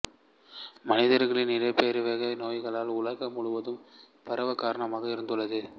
மனிதர்களின் இடப்பெயர்வே நோய்கள் உலகம் முழுதுவம் பரவக் காரணமாக இருந்துள்ளது